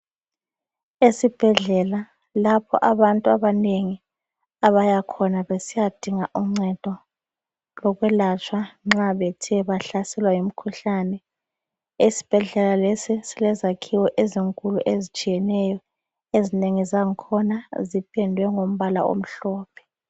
Esibhedlela lapho abantu abanengi abayakhona besiyadinga uncedo lokwelatshwa nxa bethe bahlaselwa yimkhuhlane. Esibhedlela lesi silezakhiwo ezinengi ezitshiyeneyo. Ezinengi zakhona zipendwe ngombala omhlophe.